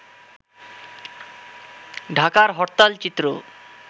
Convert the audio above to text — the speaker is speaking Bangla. ঢাকার হরতাল চিত্র